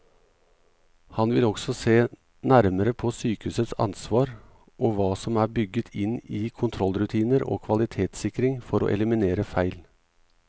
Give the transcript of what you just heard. Han vil også se nærmere på sykehusets ansvar og hva som er bygget inn i kontrollrutiner og kvalitetssikring for å eliminere feil.